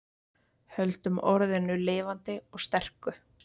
Höldum orðinu lifandi og sterku